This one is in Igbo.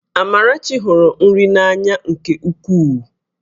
Amarachi hụrụ nri n'anya nke ukwuu